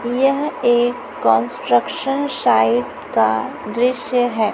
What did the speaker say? यह एक construction site का दृश्य है।